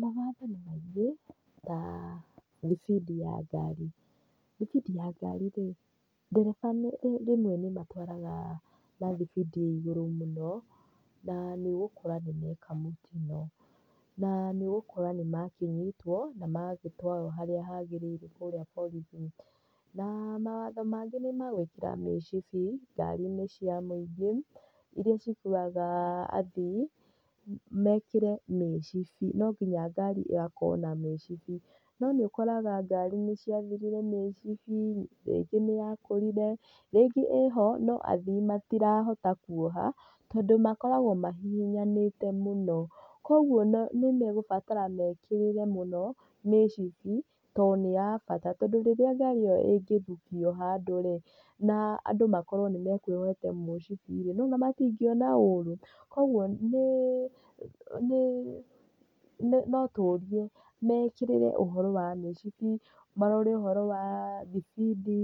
Mawatho nĩ maingĩ ta thibindi ya ngari, thibindi ya ngari rĩ ndereba rĩmwe nĩ matwaraga na thibindi ya igũrũ mũno na nĩ ũgũkora nĩmeka mũtino na nĩ ũgũkora nĩ makĩnyitwo na nĩ matwarwo harĩa hagĩrĩire kũrĩa borithi. Na mawatho mangĩ nĩ ma gwĩkĩra mĩcibi ngari-inĩ cia mũingĩ ĩria cĩkuwaga athĩĩ, mekĩre mĩcibi, no ngina ngari ĩgakorwo na mĩcibi. No nĩ ũkora ngari nĩ ciathirire mĩcibi, rĩngĩ nĩ ya kũrire, rĩngĩ ĩho no athĩĩ matirahota Kũiga tondũ makoragwo mahihinyanĩte mũno. Koguo nĩ megũbatara mekĩrĩre mũno mĩcibi to nĩ ya bata, tondũ rĩrĩa ngari ĩyo ĩngĩthukio handũ rĩ na andũ makorwo nĩ mekwĩyohete mĩcibi rĩ nĩ wona matingĩona ũri, koguo notũrie mekĩrĩre ũhoro wa macini, marore ũhoro wa thibindi